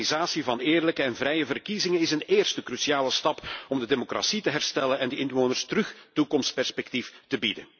De organisatie van eerlijke en vrije verkiezingen is een eerste cruciale stap om de democratie te herstellen en de inwoners opnieuw toekomstperspectief te bieden.